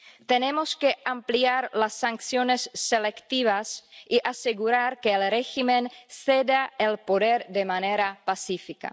Tenemos que ampliar las sanciones selectivas y asegurar que el régimen ceda el poder de manera pacífica.